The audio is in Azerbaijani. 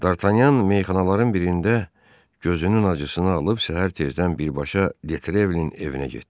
Dartanyan meyxanaların birində gözünün acısını alıb səhər tezdən birbaşa De Trevilin evinə getdi.